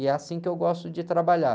E é assim que eu gosto de trabalhar.